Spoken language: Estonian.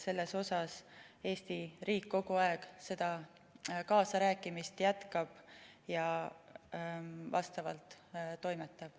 Selles jätkab Eesti riik kogu aeg kaasarääkimist ja vastavalt ka toimetab.